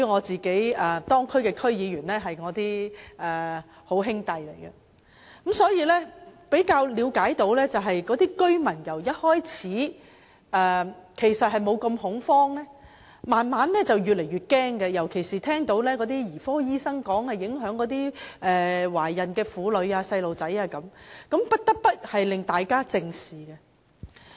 這些地區的區議員均是我的友好，所以我也比較了解有關的情況，知道區內居民由初期的不太恐慌，發展至越來越感到惶恐，尤其是聽到兒科醫生說飲用含鉛食水會影響懷孕婦女及小孩子，大家也就不得不正視。